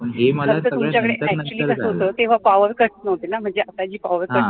actually कसा होतं तेव्हा powercut नव्हता म्हणजे आता जी powercut हे